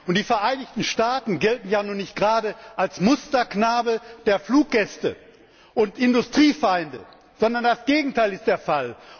Und die Vereinigten Staaten gelten ja nun nicht gerade als Musterknabe der Fluggäste und als Industriefeinde, sondern das Gegenteil ist der Fall.